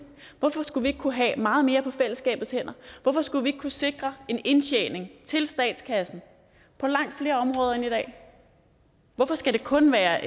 hvorfor skulle vi ikke kunne have meget mere på fællesskabets hænder hvorfor skulle vi ikke kunne sikre en indtjening til statskassen på langt flere områder end i dag hvorfor skal det kun være